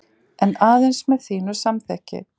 En aðeins með þínu samþykki.